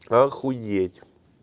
охуеть